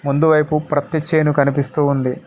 ముందు పైపు ప్రత్తి చేను కనిపిస్తూ ఉంది.